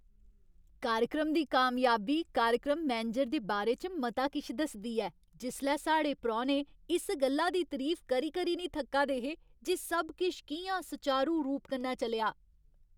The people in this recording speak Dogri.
कार्यक्रम दी कामयाबी कार्यक्रम मैनेजर दे बारे च मता किश दसदी ऐ जिसलै साढ़े परौह्ने इस गल्ला दी तरीफ करी करी नेईं थक्का दे हे जे सब किश कि'यां सुचारू रूप कन्नै चलेआ।